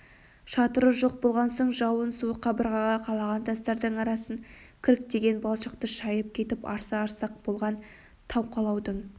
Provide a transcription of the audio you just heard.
шатыры жоқ болған соң жауын суы қабырғаға қалаған тастардың арасын кіріктірген балшықты шайып кетіп арса-арса болған тас қалаудың